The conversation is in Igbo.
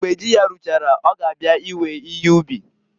Mgbe ji ya ruchara ọ ga abịa iwe ihe ub.